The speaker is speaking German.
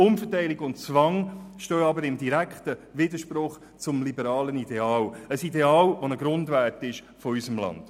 Umverteilung und Zwang stehen jedoch in direktem Widerspruch zum liberalen Ideal, ein Ideal, das ein Grundwert unseres Landes ist.